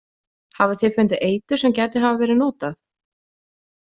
Hafið þið fundið eitur sem gæti hafa verið notað?